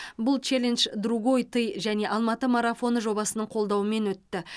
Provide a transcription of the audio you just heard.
бұл челендж другой ты және алматы марафоны жобасының қолдауымен өтті